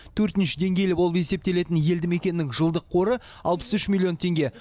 төртінші деңгейлі болып есептелетін елді мекеннің жылдық қоры алпыс үш миллион теңге